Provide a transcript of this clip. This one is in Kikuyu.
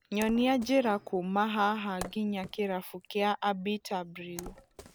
nyonia njiĩra kuuma haha nginya kirabu kia abita brew